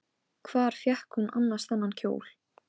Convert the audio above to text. Hlýt bara að vera að bilast.